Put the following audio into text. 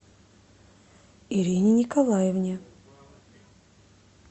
ирине николаевне